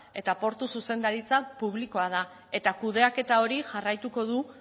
eta portu zuzendaritza publikoa da eta kudeaketa hori jarraituko du